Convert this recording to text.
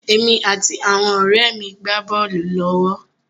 Èmi àti àwọn ọ̀rẹ́ mi gbá bọ́ọ̀lù lọ́wọ́.